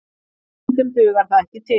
En stundum dugar það ekki til